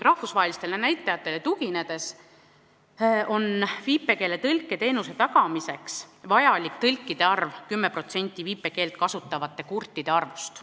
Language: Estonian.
Rahvusvahelistele näitajatele tuginedes on viipekeeletõlke teenuse tagamiseks vajalik tõlkide arv 10% viipekeelt kasutavate kurtide arvust.